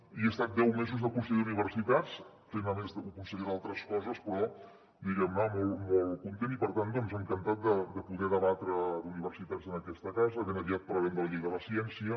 i he estat deu mesos de conseller d’universitats fent a més de conseller d’altres coses però diguem ne molt molt content i per tant encantat de poder debatre d’universitats en aquesta casa ben aviat parlarem de la llei de la ciència